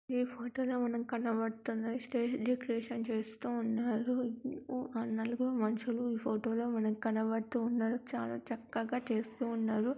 ఈ ఫోటో లో మనకి కనబడుతున్న స్టేజి డెకరేషన్ చేస్తూ ఉన్నారు నాలుగురు మనుసులు ఈ ఫోటో లో మనకి కనబడుతున్నారు చాలు చక్కగా చేస్తున్నారు .